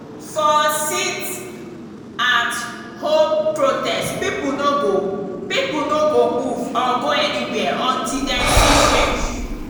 for sit-at-home protest pipo no go pipo no go move or go anywhere until dem see change.